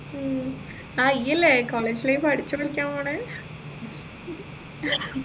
ഉം ആ ഈ അല്ലെ college life അടിച്ച് പൊളിക്കാൻ പോൺ